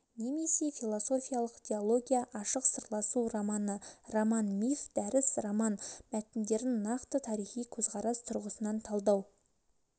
немесе философиялық диология ашық сырласу романы роман-миф дәріс роман мәтіндерін нақты тарихи көзқарас тұрғысынан талдау